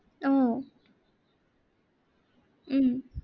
আহ উম